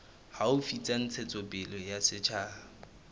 haufi tsa ntshetsopele ya setjhaba